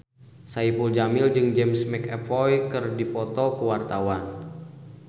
Saipul Jamil jeung James McAvoy keur dipoto ku wartawan